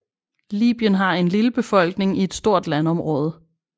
Libyen har en lille befolkning i et stort landområde